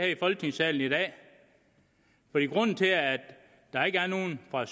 i folketingssalen i dag grunden til at der ikke er nogen fra